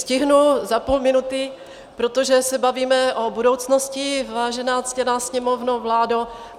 Stihnu za půl minuty, protože se bavíme o budoucnosti, vážená ctěná Sněmovno, vládo.